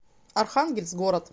архангельск город